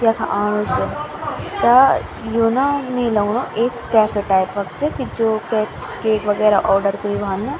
यख आणु से त्या यु न मी लगणु एक कैफ़े टाइप क च कि जू केक केक वगैरा आर्डर कयूं वान।